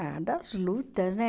Ah, das lutas, né?